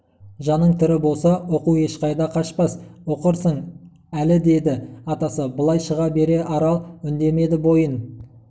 жаның тірі болса оқу ешқайда қашпас оқырсың әлі деді атасы былай шыға бере арал үндемеді бойын